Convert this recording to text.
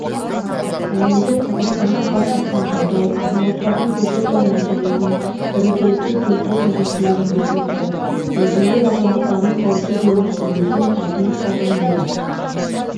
әлемде қазақстанда қалыптасқан жағдай азаматтардың көші-қон мәселесін бірізділікке келтіру қажеттілігін көрсетті біздің ел азаматтарының қауіпсіз өмір сүруі үшін тартынып қалған жері